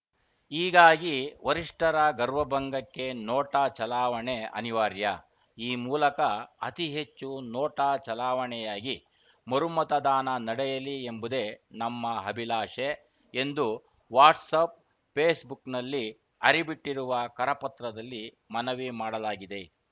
ಹೀಗಾಗಿ ವರಿಷ್ಠರ ಗರ್ವಭಂಗಕ್ಕೆ ನೋಟಾ ಚಲಾವಣೆ ಅನಿವಾರ್ಯ ಈ ಮೂಲಕ ಅತಿ ಹೆಚ್ಚು ನೋಟಾ ಚಲಾವಣೆಯಾಗಿ ಮರುಮತದಾನ ನಡೆಯಲಿ ಎಂಬುದೇ ನಮ್ಮ ಅಭಿಲಾಷೆ ಎಂದು ವಾಟ್ಸಪ್‌ ಪೇಸ್‌ಬುಕ್‌ನಲ್ಲಿ ಹರಿಬಿಟ್ಟಿರುವ ಕರಪತ್ರದಲ್ಲಿ ಮನವಿ ಮಾಡಲಾಗಿದೆ